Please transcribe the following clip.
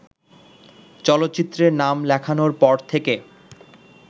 চলচ্চিত্রে নাম লেখানোর পর থেকে